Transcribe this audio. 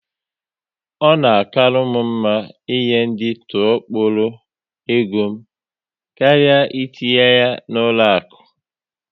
Ọ na akalu m mma ị nye ndị tụọ kpọrọ égo m karịa etinye ya na ụlọ akụ